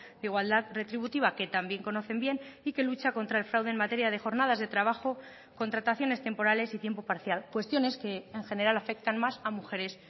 de igualdad retributiva que también conocen bien y que lucha contra el fraude en materia de jornadas de trabajo contrataciones temporales y tiempo parcial cuestiones que en general afectan más a mujeres